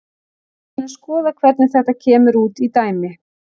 Við skulum skoða hvernig þetta kemur út í dæmi.